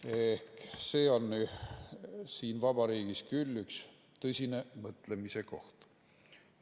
Ehk see on siin vabariigis küll üks tõsine mõtlemise koht.